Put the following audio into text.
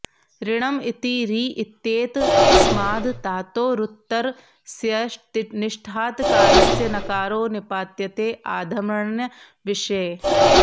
ऋणम् इति ऋ इत्येतस्माद् धातोरुत्तरस्य निष्ठातकारस्य नकारो निपात्यते आधमर्ण्यविषये